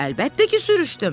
Əlbəttə ki, sürüşdüm.